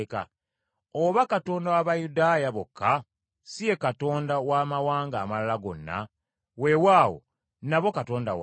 Oba Katonda wa Bayudaaya bokka? Si ye Katonda w’amawanga amalala gonna? Weewaawo nabo Katonda waabwe.